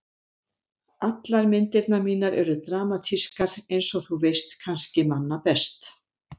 Allar myndirnar mínar eru dramatískar einsog þú veist kannski manna best.